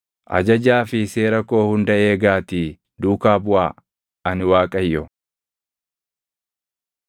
“ ‘Ajajaa fi seera koo hunda eegaatii duukaa buʼaa. Ani Waaqayyo.’ ”